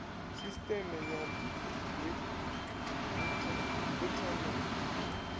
sisteme ya brt ri na